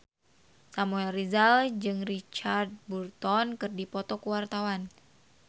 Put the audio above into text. Samuel Rizal jeung Richard Burton keur dipoto ku wartawan